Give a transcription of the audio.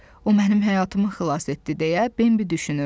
O mənim həyatımı xilas etdi deyə Bembi düşünürdü.